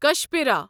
کشپرا